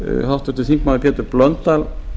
háttvirtur þingmaður pétur blöndal